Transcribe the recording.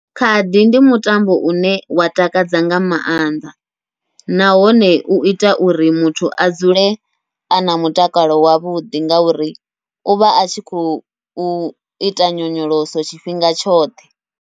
Khadi ndi mutambo une wa takadza nga maanḓa, nahone uita uri muthu a dzule ana mutakalo wavhuḓi ngauri uvha a tshi khou uita nyonyoloso tshifhinga tshoṱhe.